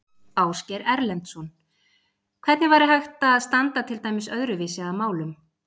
Ásgeir Erlendsson: Hvernig væri hægt að standa til dæmis öðruvísi að málum?